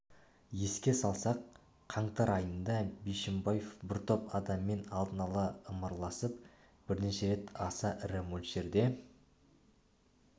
еске салсақ қаңтар айында бишімбаев бір топ адаммен алдын ала ымыраласып бірнеше рет аса ірі мөлшерде